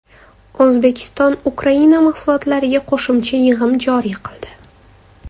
O‘zbekiston Ukraina mahsulotlariga qo‘shimcha yig‘im joriy qildi.